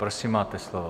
Prosím, máte slovo.